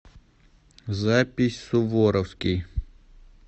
запись суворовский